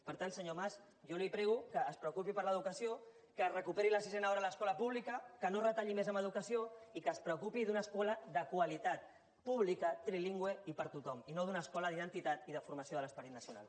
per tant senyor mas jo li prego que es preocupi per l’educació que es recuperi la sisena hora a l’escola pública que no es retalli més en educació i que es preocupi d’una escola de qualitat pública trilingüe i per a tothom i no d’una escola d’identitat ni de formació de l’esperit nacional